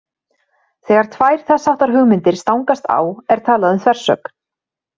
Þegar tvær þess háttar hugmyndir stangast á er talað um þversögn.